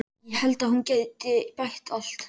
Ég held að hún geti bætt allt.